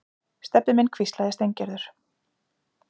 Stebbi minn hvíslaði Steingerður.